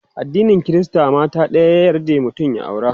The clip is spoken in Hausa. addinin Krista mata ɗaya ta yarda mutum ya aura